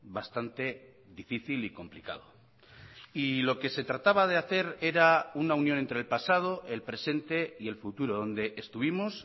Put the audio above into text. bastante difícil y complicado y lo que se trataba de hacer era una unión entre el pasado el presente y el futuro donde estuvimos